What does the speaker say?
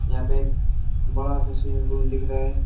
यहां पे एक बड़ा सा स्विमिंग पूल दिख रहा है।